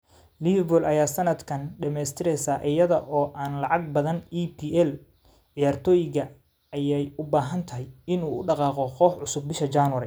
Liverpool ayaa sanadkan dhamaystiraysa iyada oo aan laga badin EPL ciyaartoygee ayay u badantahay in uu u dhaqaaqo koox cusub bisha January.